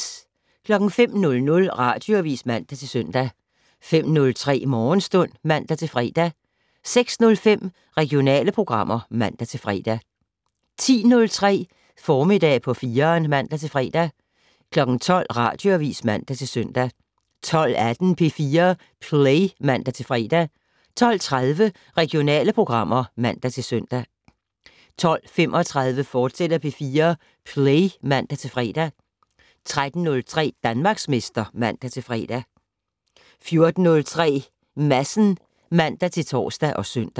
05:00: Radioavis (man-søn) 05:03: Morgenstund (man-fre) 06:05: Regionale programmer (man-fre) 10:03: Formiddag på 4'eren (man-fre) 12:00: Radioavis (man-søn) 12:18: P4 Play (man-fre) 12:30: Regionale programmer (man-søn) 12:35: P4 Play, fortsat (man-fre) 13:03: Danmarksmester (man-fre) 14:03: Madsen (man-tor og søn)